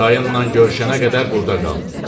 Dayından görüşənə qədər burda qal.